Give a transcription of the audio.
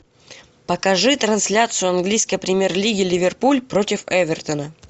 покажи трансляцию английской премьер лиги ливерпуль против эвертона